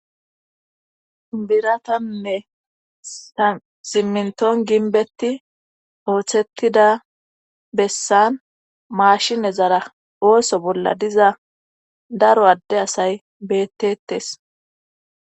Biratanne siminton ginbetti ooththettida bessan maashine zara ooso bolla diza daro adde asay bettetes